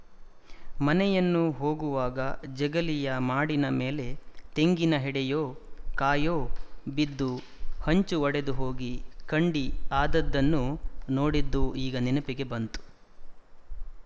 ಮನೆಯನ್ನು ಹೋಗುವಾಗ ಜಗಲಿಯ ಮಾಡಿನ ಮೇಲೆ ತೆಂಗಿನ ಹೆಡೆಯೋ ಕಾಯೋ ಬಿದ್ದು ಹಂಚು ಒಡೆದುಹೋಗಿ ಕಂಡಿ ಆದದ್ದನ್ನು ನೋಡಿದ್ದೂ ಈಗ ನೆನಪಿಗೆ ಬಂತು